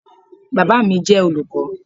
Baba mi jẹ olukọ